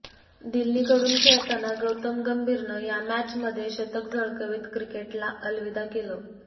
दिल्लीकडून खेळताना गौतम गंभीरनं या मॅचमध्ये शतक झळकवत क्रिकेटला अलविदा केलं